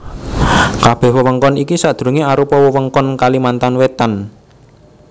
Kabèh wewengkon iki sadurungé arupa wewengkon Kalimantan Wétan